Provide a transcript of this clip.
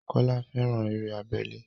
Kọ́lá fẹ́ran eré abẹ́lé